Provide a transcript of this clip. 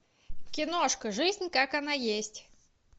киношка жизнь как она есть